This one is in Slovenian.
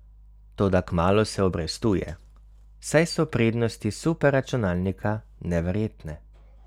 Toda kmalu se obrestuje, saj so prednosti superračunalnika neverjetne.